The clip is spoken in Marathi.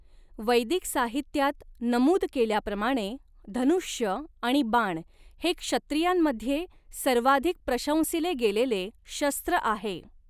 वैदिक साहित्यात नमूद केल्याप्रमाणे, धनुष्य आणि बाण हे क्षत्रियांमध्ये सर्वाधिक प्रशंसिले गेलेले शस्त्र आहे.